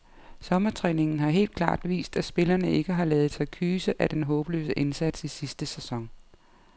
Sommertræningen har helt klart vist, at spillerne ikke har ladet sig kyse af den håbløse indsats i sidste sæson.